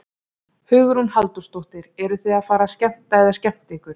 Hugrún Halldórsdóttir: Eruð þið að fara að skemmta eða skemmta ykkur?